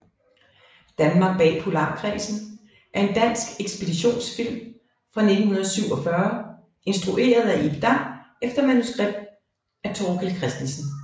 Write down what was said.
Danmark bag Polarkredsen er en dansk ekspeditionsfilm fra 1947 instrueret af Ib Dam efter manuskript af Thorkild Christensen